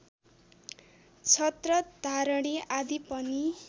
छत्रधारणि आदि पनि